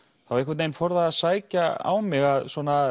þá einhvern veginn fór það að sækja á mig að